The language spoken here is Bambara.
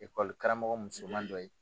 Ekɔli karamɔgɔ muso man dɔ ye.